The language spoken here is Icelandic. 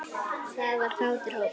Þetta var kátur hópur.